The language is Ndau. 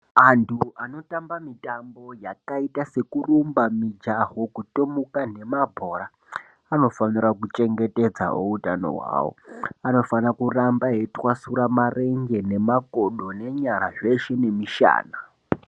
Anhu anotamba mitambo yakaita se kurumba ,mijaho ,kutomuka nemabhora vanofanira kuchengetedzawo utano hwawo. Vanofanira kuramba veitwasura marenje, nemakodo, nenyara zveshe nemishana.